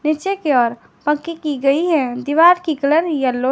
नीचे की ओर पक्की की गई है दीवार की कलर येलो --